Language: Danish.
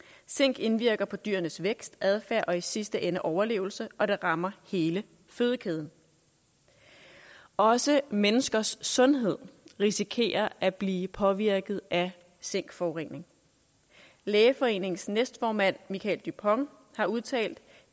zink indvirker på dyrenes vækst adfærd og i sidste ende overlevelse og det rammer hele fødekæden også menneskers sundhed risikerer at blive påvirket af zinkforurening lægeforeningens næstformand michael dupont har udtalt